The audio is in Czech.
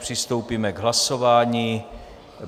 Přistoupíme k hlasování.